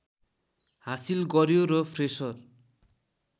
हासिल गर्‍यो र फ्रेसर